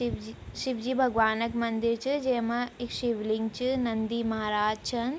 शिवजी शिवजी भगवान् क मंदिर च जेमा शिवलिंग च नंदी महाराज छन ।